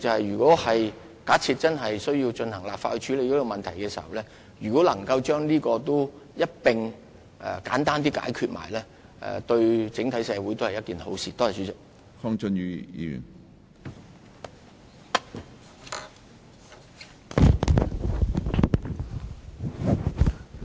如果真的透過立法處理這個問題時，能夠將這事宜一併簡單地解決，對整體社會也是好事。